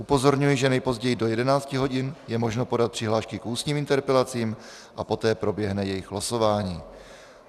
Upozorňuji, že nejpozději do 11 hodin je možno podat přihlášky k ústním interpelacím a poté proběhne jejich losování.